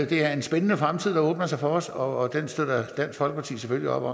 det er en spændende fremtid der åbner sig for os og dansk folkeparti støtter